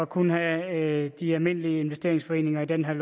kun have de almindelige investeringsforeninger i den her